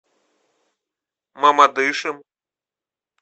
мамадышем